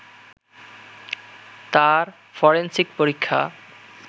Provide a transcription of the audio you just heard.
তার ফরেন্সিক পরীক্ষা